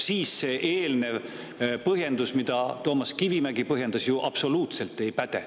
Siis see eelnev põhjendus, mille Toomas Kivimägi andis, ju absoluutselt ei päde.